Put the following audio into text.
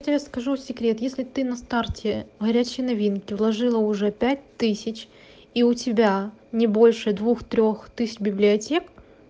я тебе скажу секрет если ты на старте горячие новинки уложила уже пять тысяч и у тебя не больше двух трёх тысяч библиотек